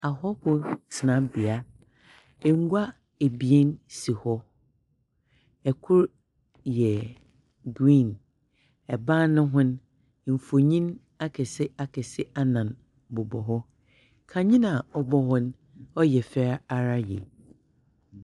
Ahɔhow tenabea. Ngua abien si hɔ. Ɛkoro yɛ griin, ɛnam ne ho'n mfonyin akɛse akɛse anan bobɔ hɔ. Kane a ɔbɔ hɔ no ɛyɛ fɛ ara yie.